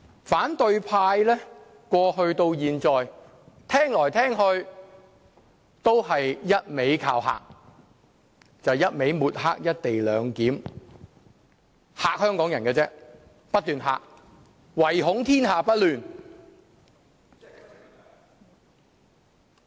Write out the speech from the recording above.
反對派過去到現在，聽來聽去都是一味"靠嚇"，就是一味抹黑"一地兩檢"安排，只是不斷嚇香港人，唯恐天下不亂。